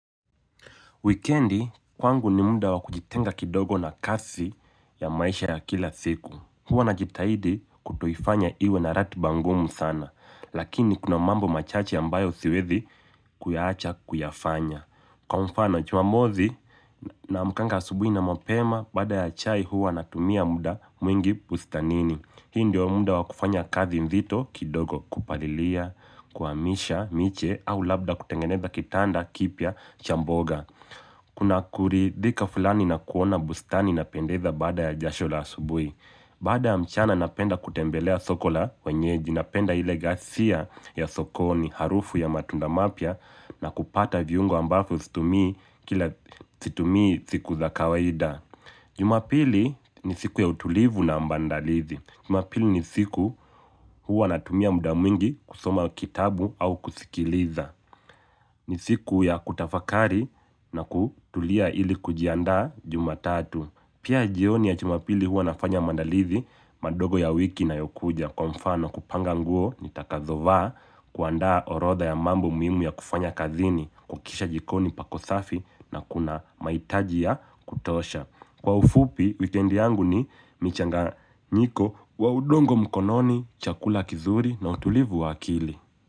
Wikendi, kwangu ni muda wa kujitenga kidogo na kazi ya maisha ya kila siku. Huwa najitahidi kutoifanya iwe na ratiba ngumu sana, lakini kuna mambo machache ambayo siwezi kuyaacha kuyafanya. Kwa mfano, Jumamosi naamkanga asubuhi na mapema, baada ya chai huwa na tumia muda mwingi bustanini. Hii ndio muda wa kufanya kazi nzito kidogo kupalilia, kuhamisha, miche au labda kutengeneza kitanda, kipya, cha mboga. Kuna kuridhika fulani na kuona bustani na pendeza baada ya jasho la asubuhi baada ya mchana napenda kutembelea soko la wenyeji napenda ile gasia ya sokoni harufu ya matunda mapya na kupata viungo ambavyo situmii kila situmii siku za kawaida Jumapili ni siku ya utulivu na ambandalizi Jumapili ni siku huwa natumia muda mwingi kusoma kitabu au kusikiliza ni siku ya kutafakari na kutulia ili kujiandaa Jumatatu. Pia jioni ya Jumapili huwa nafanya maandalizi madogo ya wiki inayokuja kwa mfano kupanga nguo nitakazovaa kuandaa orodha ya mambo muhimu ya kufanya kazini, kuhakikisha jikoni pako safi na kuna mahitaji ya kutosha. Kwa ufupi, wikendi yangu ni michanganyiko wa udongo mkononi, chakula kizuri na utulivu wa akili.